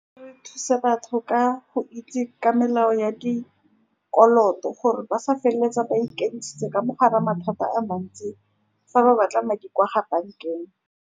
Re thuse batho ka go itse ka melao ya dikoloto, gore ba sa feleletsa ba ka mogare ga mathata a mantsi, fa ba batla madi kwa ga bankeng.